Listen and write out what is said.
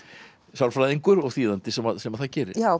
sálfræðingur og þýðandi sem sem það gerir já